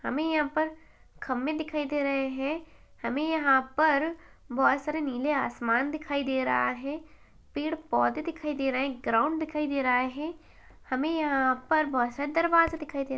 हमे यहाँ पर खम्भे दिखाई दे रहे है हमे यहाँ पर बहुत सारे नीले आसमान दिखाई दे रहा है पेड़ पौधे दिखाई दे रहे है ग्राउंड दिखाई दे रहा है हमे यहाँ अर बहत से दरवाजे दिखाई दे रहे है।